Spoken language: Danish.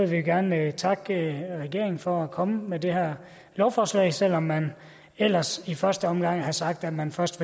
vi gerne takke regeringen for at komme med det her lovforslag selv om man ellers i første omgang havde sagt at man først